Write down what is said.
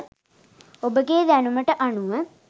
ඔබගේ දැනුමට අනුව